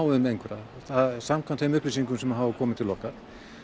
um einhverja samkvæmt þeim upplýsingum sem hafa komið til okkar